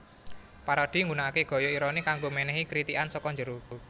Parodi nggunakake gaya ironi kanggo menehi kritikan saka njero